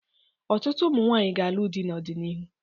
Ọtụtụ ụmụ nwaanyi ga-alụ dị n'ọdịnihu.